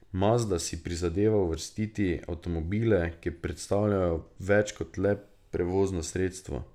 Mazda si prizadeva ustvariti avtomobile, ki predstavljajo več kot le prevozno sredstvo.